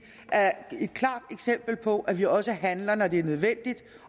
er et klart eksempel på at vi også handler når det er nødvendigt